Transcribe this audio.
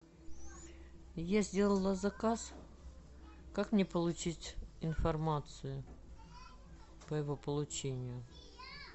я сделала заказ как мне получить информацию по его получению